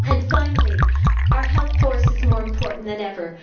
Finally, our health force is more important than ever.